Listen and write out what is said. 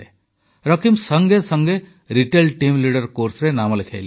ରକୀବ ସଙ୍ଗେ ସଙ୍ଗେ retail team leader କୋର୍ସରେ ନାମ ଲେଖାଇଲା